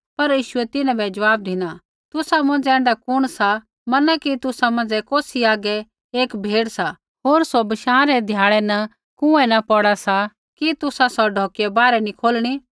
पर यीशुऐ तिन्हां बै ज़वाब धिना तुसा मौंझ़ै ऐण्ढा कुण सा मना कि तुसा मौंझ़ै कौसी हागै एक भेड़ सा होर सौ बशाँ रै ध्याड़ै न कुँऐ न पौड़ा सा कि तुसा सौ ढौकिया बाहरै नी खोलणी